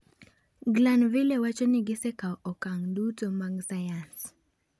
Glanville wacho ni gisekawo okang' duto mag sayans.